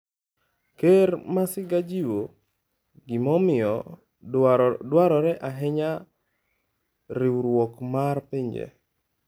Ker Masiga jiwo gimomiyo dwarore ahinya riwruok mar pinje